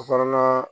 Kɔnɔna